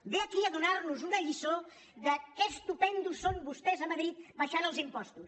ve aquí a donar·nos una lliçó de que estupends són vostès a madrid abaixant els impostos